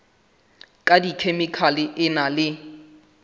ka dikhemikhale e na le